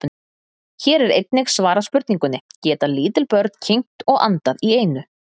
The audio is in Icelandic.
Hér er einnig svarað spurningunni: Geta lítil börn kyngt og andað í einu?